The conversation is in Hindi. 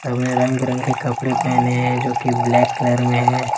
सबने रंगबिरंगे कपड़े पहने हैं जोकि ब्लैक कलर में है।